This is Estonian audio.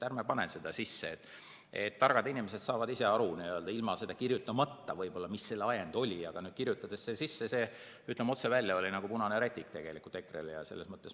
Ärme paneme seda sisse, targad inimesed saavad ise aru, ilma seda sinna kirjutamata võib-olla, mis selle ajend oli, aga kui see kirjutati sisse, ütleme otse välja, siis oli see nagu punane rätik EKRE‑le.